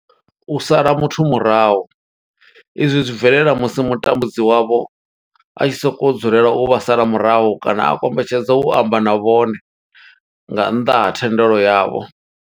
U sala muthu murahu izwi zwi bvelela musi mutambudzi wavho a tshi sokou dzulela u vha sala murahu kana a kombetshedza u amba na vhone nga nnḓa ha thendelo yavho.